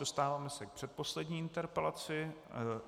Dostáváme se k předposlední interpelaci.